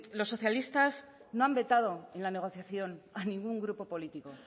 los socialistas no han vetado en la negociación a ningún grupo político